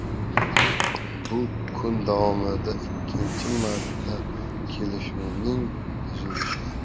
Bu kun davomida ikkinchi marta kelishuvning buzilishi.